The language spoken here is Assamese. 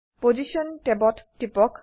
পজিশ্যন ট্যাবত টিপক